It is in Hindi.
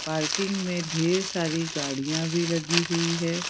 पार्किंग में ढेर सारी गाड़ियां भी लगी हुई हैं।